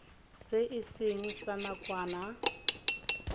se e seng sa nakwana